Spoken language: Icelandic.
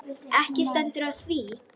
Ekki stendur á því.